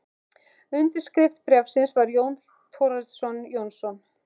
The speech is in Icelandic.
Undirskrift bréfsins var Jón Thorsteinsson Jónsson.